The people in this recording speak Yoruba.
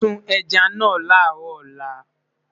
sùn ẹja nà laro òla